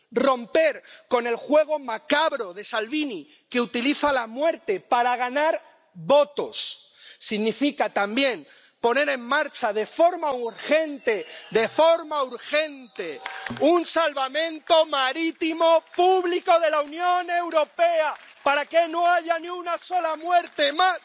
Romper con el juego macabro de Salvini, que utiliza la muerte para ganar votos, significa también poner en marcha de forma urgente —de forma urgente— un salvamento marítimo público de la Unión Europea para que no haya ni una sola muerte más